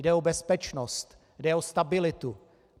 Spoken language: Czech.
Jde o bezpečnost, jde o stabilitu.